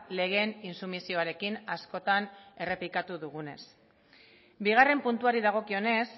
legeen intsumisioarekin askotan errepikatu dugunez bigarren puntuari dagokionez